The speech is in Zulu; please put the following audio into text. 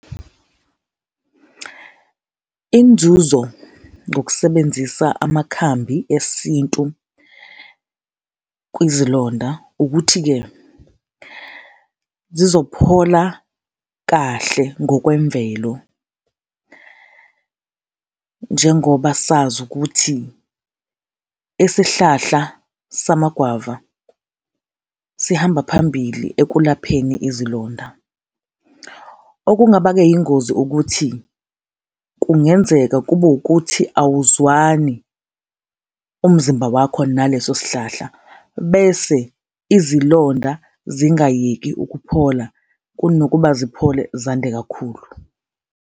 Inzuzo ngokusebenzisa amakhambi esintu kwizilonda ukuthi-ke, zizophola kahle ngokwemvelo, njengoba sazi ukuthi isihlahla samagwava sihamba phambili ekulapheni izilonda. Okungaba-ke yingozi ukuthi kungenzeka kube wukuthi awuzwani umzimba wakho naleso sihlahla bese izilonda zingayeki ukuphola, kunokuba ziphole zande kakhulu.